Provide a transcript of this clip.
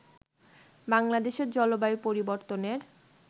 বাংলাদেশের জলবায়ু পরিবর্তনের